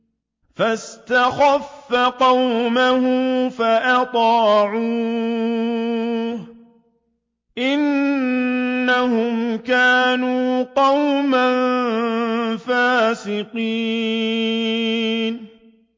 فَاسْتَخَفَّ قَوْمَهُ فَأَطَاعُوهُ ۚ إِنَّهُمْ كَانُوا قَوْمًا فَاسِقِينَ